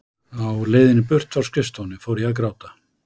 Á leiðinni burt frá skrifstofunni fór ég að gráta.